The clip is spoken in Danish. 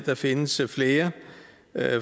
der findes flere